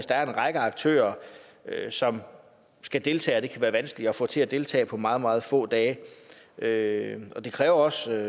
der er en række aktører som skal deltage og som kan være vanskelige at få til at deltage på meget meget få dage dage det kræver også at